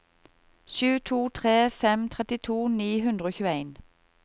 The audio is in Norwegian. sju to tre fem trettito ni hundre og tjueen